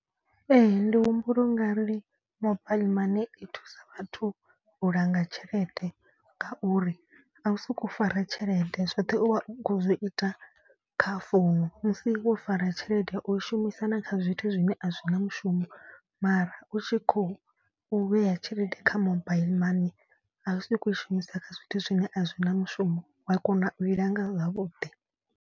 Ee ndi humbula u nga ri mobaiḽi mani i thusa vhathu u langa tshelede. Ngauri a u soko fara tshelede zwoṱhe u vha u kho zwi ita kha founu. Musi wo fara tshelede u shumisa na kha zwithu zwine a zwi na mushumo. Mara u tshi khou vhea tshelede kha mobaiḽi mani a u soko u i shumisa kha zwithu zwine a zwi na mushumo wa kona u i langa zwavhuḓi.